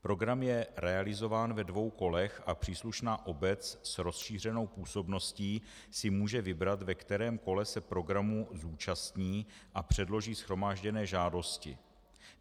Program je realizován ve dvou kolech a příslušná obec s rozšířenou působností si může vybrat, ve kterém kole se programu zúčastní a předloží shromážděné žádosti.